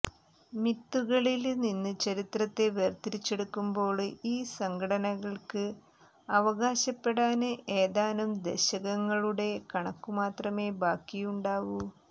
മിത്തുകളില് നിന്ന് ചരിത്രത്തെ വേര്തിരിച്ചെടുക്കുമ്പോള് ഈ സംഘടനകള്ക്ക് അവകാശപ്പെടാന് ഏതാനും ദശകങ്ങളുടെ കണക്കു മാത്രമേ ബാക്കിയുണ്ടാവൂ